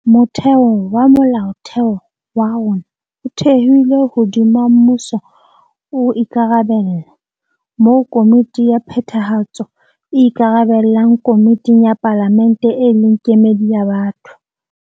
Motheo wa Molaotheo wa rona o thehilwe hodima mmuso o ikarabella, moo Komiti ya Phethahatso e ikarabellang komiting ya Palamente e leng kemedi ya batho.